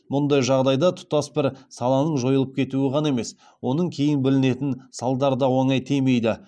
мұндай жағдайда тұтас бір саланың жойылып кетуі ғана емес оның кейін білінетін салдары да оңай тимейді